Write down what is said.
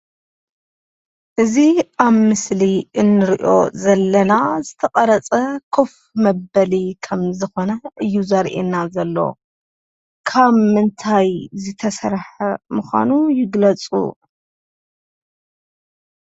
እዚ ኣብ ምስሊ እንሪኦ ዘለና ዝተቀረፀ ኮፍ መበሊ ከም ዝኾነ እዩ ዘርእየና ዘሎ፡፡ ካብ ምንታይ ዝተሰርሐ ምዃኑ ይግለፁ?